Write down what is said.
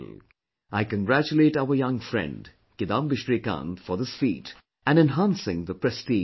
I congratulate our young friend, Kidambi Srikanth for this feat and enhancing the prestige of India